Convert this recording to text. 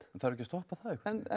þarf ekki að stoppa það eitthvað